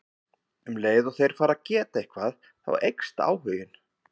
Um leið og þeir fara að geta eitthvað þá eykst áhuginn.